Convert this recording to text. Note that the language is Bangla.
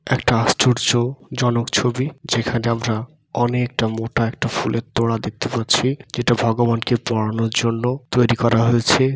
একটা আশ্চর্য জনক ছবি যেখানে আমরা অনেকটা মোটা একটা ফুলের তোড়া দেখতে পাচ্ছি যেটা ভগবানকে পড়ানোর জন্য তৈরি করা হয়েছে।